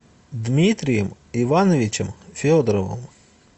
дмитрием ивановичем федоровым